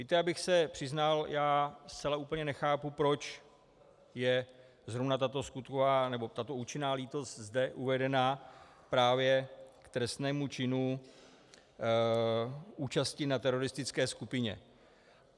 Víte, abych se přiznal, já zcela úplně nechápu, proč je zrovna tato skutková nebo tato účinná lítost zde uvedena právě k trestnému činu účasti na teroristické skupině.